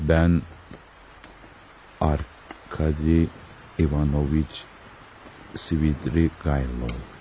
Mən Arkadi Ivanoviç Svidrigaylov.